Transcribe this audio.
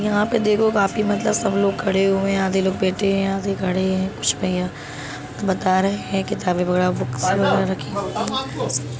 यहाँ पर देखो काफी मतलब सब लोग खड़े हुए हैं आधे लोग बैठे हैं आधे खड़े हैं कुछ भैया बता रहै हैं किताबे वगैरा बुक्स वगैरा रखी हुई है।